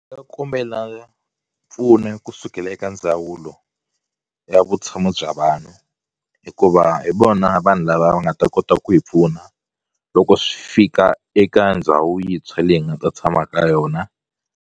nga kombela mpfuno kusukela eka ndzawulo ya vutshamo bya vanhu hikuva hi vona vanhu lava va nga ta kota ku hi pfuna loko swi fika eka ndhawu yintshwa leyi hi nga ta tshama ka yona.